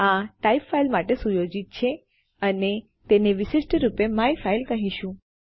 આ type file સાથે સુયોજિત છે અને આપણે તેને વિશિષ્ટ રૂપે માયફાઇલ કહીશું